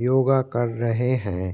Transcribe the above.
योगा कर रहें हैं।